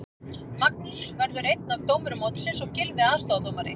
Magnús verður einn af dómurum mótsins og Gylfi aðstoðardómari.